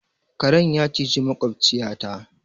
Karen ya cizi maƙwabciyata.